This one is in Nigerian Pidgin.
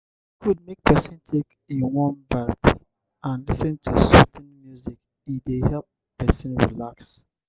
e good make pesin take a warm bath and lis ten to soothing music e dey help pesin relax.